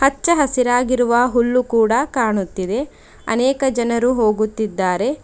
ಅಚ್ಚ ಹಸಿರಾಗಿರುವ ಹುಲ್ಲು ಕೂಡ ಕಾಣುತ್ತಿದೆ ಅನೇಕ ಜನರು ಹೋಗುತ್ತಿದ್ದಾರೆ.